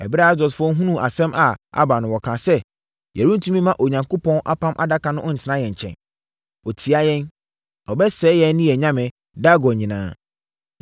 Ɛberɛ Asdodfoɔ hunuu asɛm a aba no, wɔkaa sɛ, “Yɛrentumi mma Onyankopɔn Apam Adaka no ntena yɛn nkyɛn. Ɔtia yɛn! Ɔbɛsɛe yɛn ne yɛn nyame, Dagon nyinaa.”